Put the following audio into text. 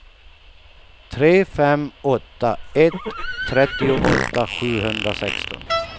tre fem åtta ett trettioåtta sjuhundrasexton